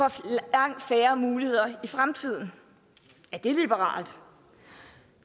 langt færre muligheder i fremtiden er det liberalt